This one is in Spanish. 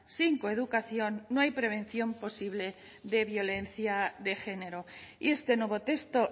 sin coeducación no hay prevención posible de violencia de género y este nuevo texto